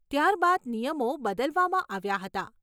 ત્યાર બાદ નિયમો બદલવામાં આવ્યા હતા.